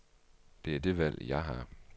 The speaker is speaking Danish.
Det er det valg, jeg har.